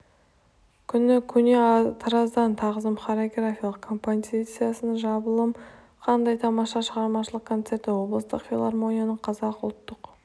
күні көне тараздан тағзым хореографиялық компазициясы жамбылым қандай тамаша шығармашылық концерті облыстық филармонияның қазақ ұлттық